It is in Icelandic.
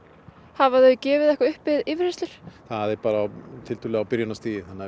hafa þau gefið eitthvað upp við yfirheyrslur það er á byrjunarstigi þannig